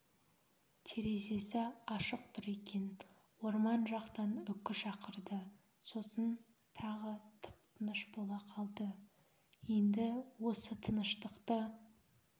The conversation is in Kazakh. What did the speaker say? терезесі ашық тұр екен орман жақтан үкі шақырды сосын тағы тып-тыныш бола қалды енді осы тыныштықты